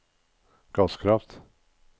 gasskraft